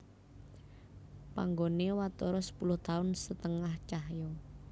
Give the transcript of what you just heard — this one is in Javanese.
Panggoné watara sepuluh taun setengah cahya